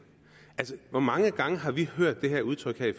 altså hvor mange gange har vi hørt ikke det udtryk her i